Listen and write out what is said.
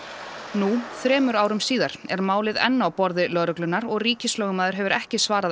nú þremur árum síðar er málið enn á borði lögreglunnar og ríkislögmaður hefur ekki svarað